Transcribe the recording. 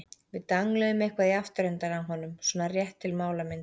Við dangluðum eitthvað í afturendann á honum- svona rétt til málamynda.